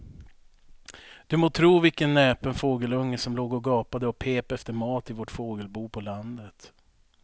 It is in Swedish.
Du må tro vilken näpen fågelunge som låg och gapade och pep efter mat i vårt fågelbo på landet.